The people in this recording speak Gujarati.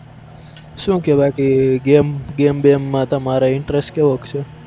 શું કેય બાકી game game બેમમાં તમારે interest કેવો છે?